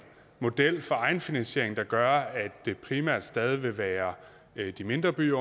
model for egenfinansiering der gør at det primært stadig vil være de mindre byer